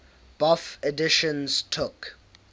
bofh editions took